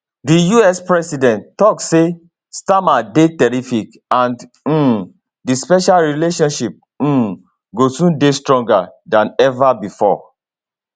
di us president tok say starmer dey terrific and um di special relationship um go soon dey stronger dan ever bifor